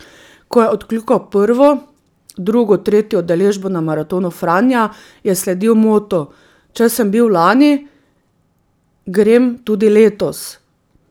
Ko je odkljukal prvo, drugo, tretjo udeležbo na maratonu Franja, je sledil motu: 'Če sem bil lani, grem tudi letos!